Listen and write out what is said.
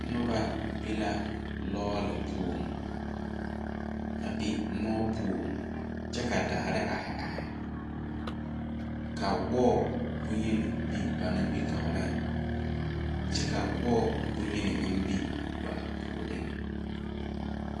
Nuba be la lɔɔle pou a be mou puo kye ka daare aei aei ka wɔɔ bunyeni be ba ningmetouring kye ka wɔɔ bunyeni meng be ba pouring.